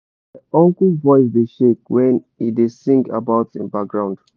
my uncle voice dey shake when he da sing about him baground